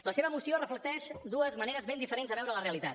la seva moció reflecteix dues maneres ben diferents de veure la realitat